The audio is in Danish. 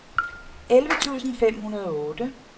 elleve tusind fem hundrede og otte